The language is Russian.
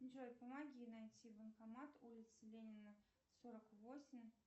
джой помоги найти банкомат улица ленина сорок восемь